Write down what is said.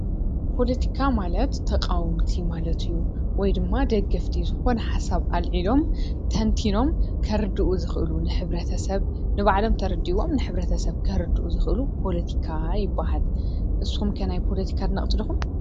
ፖለቲካ ማለት ተቃወምቲ ማለት እዩ። ወይ ድማ ደገፍቲ ዝኾነ ሓሳብ ኣልዒሎም ተንቲኖም ከርድኡ ዝኽእሉ ንሕብረተሰብ ንባዕሎም ተረዲእዎም ከረድኡ ዝኽእሉ ፖለቲካ ይብሃል። ንስኹም ከ ናይ ፖለቲካ ኣድነቅቲ ዲኹም?